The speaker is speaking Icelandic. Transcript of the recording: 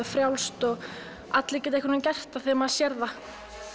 frjálst og allir geta gert það þegar maður sér það